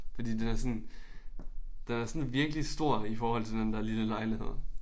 Fordi den er sådan den er sådan virkelig stor i forhold til den der lille lejlighed